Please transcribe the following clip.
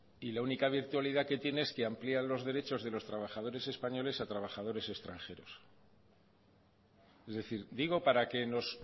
y la única virtualidad que tiene es que amplían los derechos de los trabajadores españoles a trabajadores extranjeros es decir digo para que nos